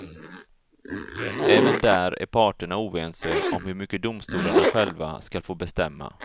Även där är parterna oense om hur mycket domstolarna själva skall få bestämma.